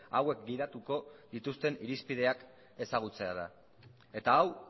hauek gidatuko dituzten irizpideak ezagutzea da eta hau